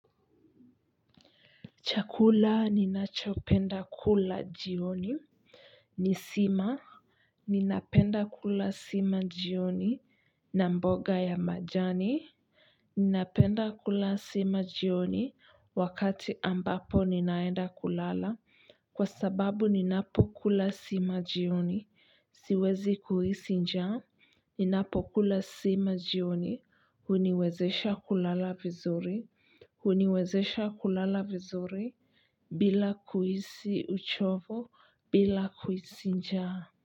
Chakula ninachopenda kula jioni. Ni sima. Ninapenda kula sima jioni. Na mboga ya majani. Ninapenda kula sima jioni. Wakati ambapo ninaenda kulala. Kwa sababu ninapokula sima jioni. Siwezi kuhisi njaa ninapo kula sima jioni. Huniwezesha kulala vizuri. Huniwezesha kulala vizuri. Bila kuhisi uchovo bila kuhisi njaa.